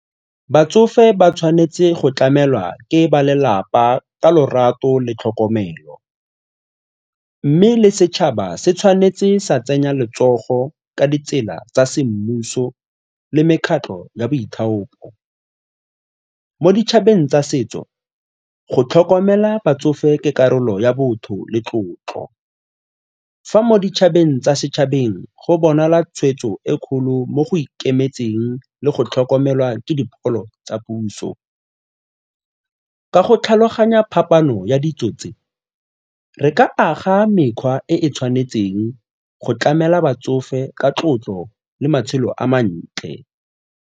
Batsofe ba tshwanetse go tlamelwa ke ba lelapa ka lorato le tlhokomelo mme le setšhaba se tshwanetse sa tsenya letsogo ka ditsela tsa semmuso le mekgatlho ya boithaopi. Mo ditšhabeng tsa setso go tlhokomela batsofe ke karolo ya botho le tlotlo, fa mo ditšhabeng tsa setšhabeng go bonala tshweetso e kgolo mo go ikemetseng le go tlhokomelwa ke dipholo tsa puso. Ka go tlhaloganya phapano ya ditso tse, re ka aga mekgwa e e tshwanetseng go tlamela batsofe ka tlotlo le matshelo a mantle.